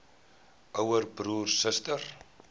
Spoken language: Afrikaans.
ouer broer suster